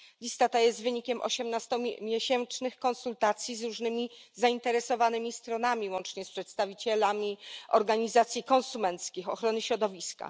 Lista ta jest wynikiem osiemnastomiesięcznych konsultacji z różnymi zainteresowanymi stronami, łącznie z przedstawicielami organizacji konsumenckich i ochrony środowiska.